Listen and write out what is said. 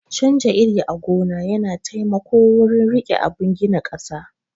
Canja iri a gona yana taimako wurin rike abun gina ƙasa